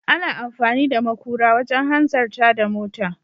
Ana amfani da makura wajen hanzarta da mota.